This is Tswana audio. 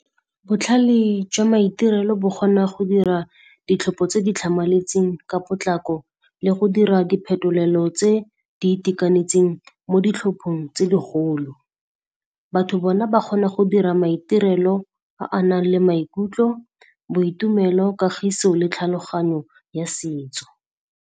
Botlhale jwa maitirelo bo kgona go dira ditlhopo tse di tlhamaletseng ka potlako le go dira diphetolelo tse di itekanetseng mo ditlhophong tse digolo. Batho bona ba kgona go dira maitirelo a a nang le maikutlo, boitumelo, kagiso le tlhaloganyo ya setso.